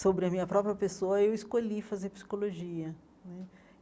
sobre a minha própria pessoa, eu escolhi fazer psicologia né.